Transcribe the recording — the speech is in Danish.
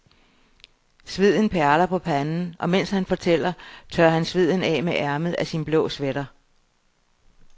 Sveden perler på panden, og mens han fortæller, tørrer han sveden af med ærmet af sin blå sweater.